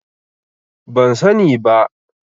Ban sani ba.